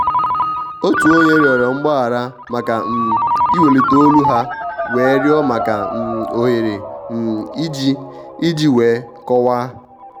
otu onye rịọrọ mgbaghara maka um iwelite olu ha wee rịọ maka um òhèrè um iji iji wee kọwáá.